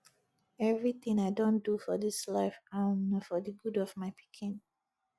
everything i don do for dis life um na for the good of my pikin